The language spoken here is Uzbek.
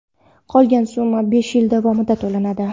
Qolgan summa besh yil davomida to‘lanadi.